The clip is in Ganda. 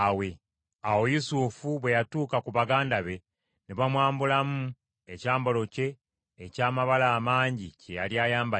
Awo Yusufu bwe yatuuka ku baganda be ne bamwambulamu ekyambalo kye eky’amabala amangi kye yali ayambadde: